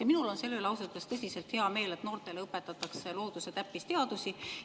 Ja minul on selle üle ausalt öeldes tõsiselt hea meel, et noortele õpetatakse loodus- ja täppisteadusi.